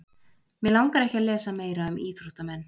mig langar ekki að lesa meira um íþróttamenn